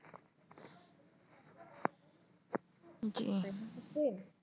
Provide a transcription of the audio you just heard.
জি